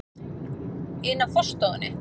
ina á forstofunni.